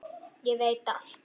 Ég veit allt!